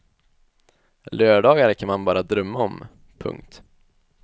Lördagar kan man bara drömma om. punkt